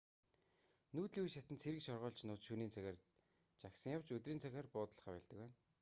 нүүдлийн үе шатанд цэрэг шоргоолжнууд шөнийн цагаар жагсан явж өдрийн цагаар буудаллахаа больдог байна